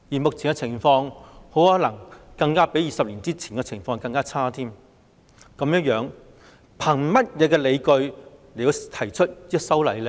目前的情況可能比20年前更差，這樣當局憑甚麼理據提出修例呢？